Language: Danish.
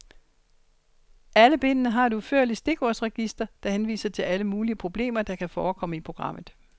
Alle bindene har et udførligt stikordsregister, der henviser til alle mulige problemer, der kan forekomme i programmet.